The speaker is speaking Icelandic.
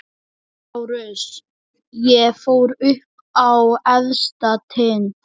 LÁRUS: Ég fór upp á efsta tind.